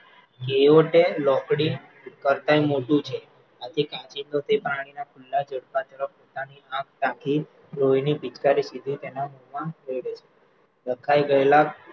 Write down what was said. જેઓ તે લોંકડી કરતાંય મોટું છે આથી કાંચિડો તે પાણીના ખુલ્લા ઝડપા ઝડપ મોઢાની આંખ રાખી લોહીની પિચકારી સીધી તેના મોમાં દે છે, ડઘાઈ ગયેલા